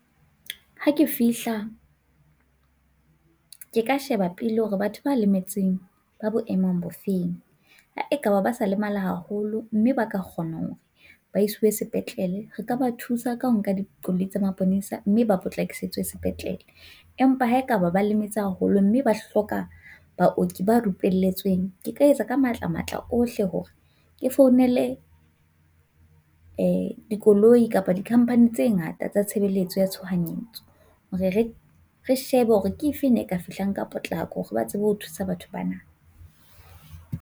Ha ke fihla ke ka sheba pele hore batho ba lemetseng ba bo emong bo feng ha ekaba ba sa lemala haholo mme ba ka kgona hore ba iswe sepetlele, re ka ba thusa ka ho nka dikoloi tsa maponesa mme ba potlakisetswe sepetlele, empa ha ekaba ba lemetse haholo mme ba hloka baoki ba rupelletsweng, ke ka etsa ka matlamatla ohle hore ke founele koloi kapa di-company tse ngata tsa tshebeletso ya tshohanyetso hore re shebe hore ke efeng e ka fihlang ka potlako, ba tsebe ho thusa batho ba na.